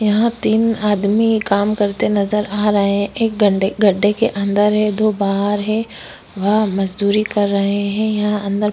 यहाँ तीन आदमीन काम करते नज़र आ रहे हैं एक गड गड्ढे के अंदर हैं दो बाहर हैं वह मजदूरी कर रहे हैं यह अंदर--